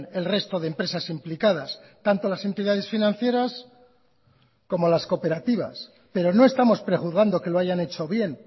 el resto de empresas implicadas tanto las entidades financieras como las cooperativas pero no estamos prejuzgando que lo hayan hecho bien